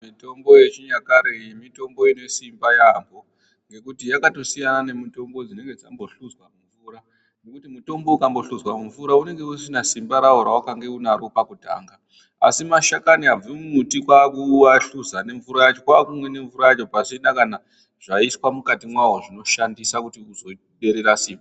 Mitombo yechinyakare iyi mitombo inesimba yaamho. ngekuti yakatosiyana nemitombo dzinenge dzambohluzwa mumvura. Nekuti mutombo ukambohluzwa mumvura unenge usisina simba ravo ravakange unaro pakutanga. Asi mashakani abve mumuti kwakuahluza nemvura yacho kwakumwe nemvura yacho pasina kana zvaiswa mukati mwavo zvinoshandisa kuti uzoderera simba.